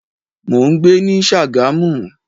Mo ń gbé ní Sagamu.